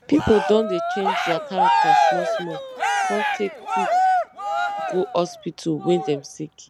pipo don dey change their character smallsmall com take quick go hospital wen dem sick